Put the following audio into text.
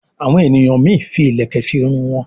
àwọn ènìyàn mí fí ilẹkẹ sí Irun wón.